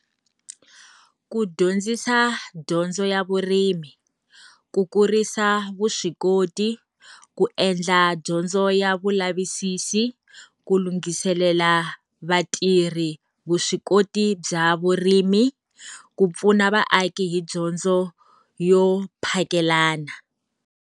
Ku dyondzisa dyondzo ya vurimi, ku kurisa vuswikoti, ku endla dyondzo ya vulavisisi, ku lunghiselela vatirhi vuswikoti bya vurimi, ku pfuna vaaki hi dyondzo yo phakelana.